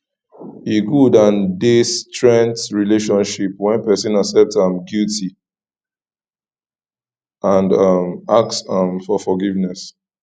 e good and dey strength relationship when pesin accept im guilty and um ask um for forgiveness